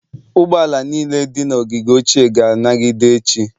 Ụgbọ ala niile dị na ogige ochie ga-anagide echi.